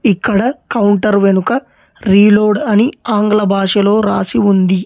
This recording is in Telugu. ఇక్కడ కౌంటర్ వెనుక రీలోడ్ అని ఆంగ్ల భాషలో రాసి ఉంది.